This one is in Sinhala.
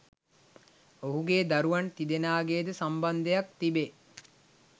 ඔහුගේ දරුවන් තිදෙනාගේ ද සම්බන්ධයක්‌ තිබේ